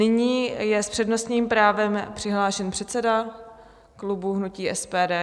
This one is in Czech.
Nyní je s přednostním právem přihlášen předseda klubu hnutí SPD.